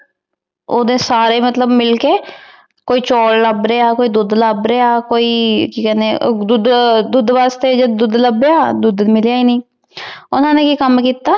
Audi ਸਾਰੇ ਮਤਲਬ ਮਿਲ ਕੇ ਕੋਈ ਚਾਵਲ ਲਾਭ ਰਯ ਕੋ ਦੋਧ ਲਾਭ ਰਯ ਕੋਈ ਕੀ ਕਹਨੀ ਦੋਧ ਦੋਧ ਵਾਸ੍ਟੀ ਜਦੋ ਦੋਧ ਲਾਬ੍ਯਾ ਦੋਧ ਮਿਲਯਾ ਈ ਆਨੀ ਊ ਹਨ ਈਯ ਸਮਝੇ ਏਇਕ